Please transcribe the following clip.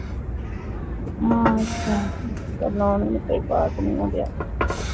loan ਹੀ ਤਾ ਕੋਈ pass ਨਹੀਂ ਹੋ ਰਿਹਾ